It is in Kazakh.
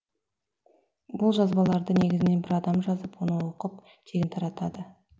бұл жазбаларды негізінен бір адам жазып оны оқып тегін таратады